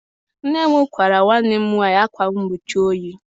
Nne m kpaara nwanne m nwaanyị akwa mgbochi oyi.